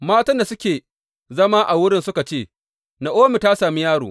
Matan da suke zama a wurin suka ce, Na’omi ta sami yaro.